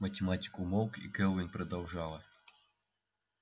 математик умолк и кэлвин продолжала